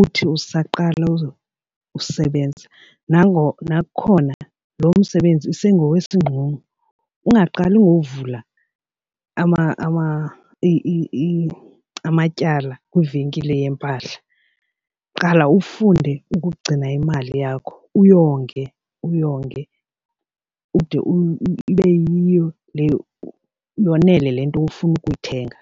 uthi usaqala usebenza nakukhona lo msebenzi isengowesingxungxo ungaqali ngovula amatyala kwivenkile yempahla. Qala ufunde ukugcina imali yakho uyonge uyonge ude ibe yiyo le yonele le nto ufuna ukuyithenga.